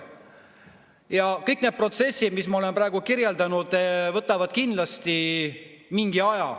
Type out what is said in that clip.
Ja kõik need protsessid, mida ma olen praegu kirjeldanud, võtavad kindlasti mingi aja.